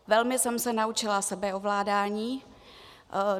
Velmi jsem se naučila sebeovládání.